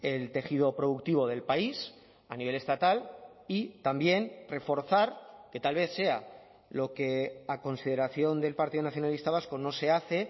el tejido productivo del país a nivel estatal y también reforzar que tal vez sea lo que a consideración del partido nacionalista vasco no se hace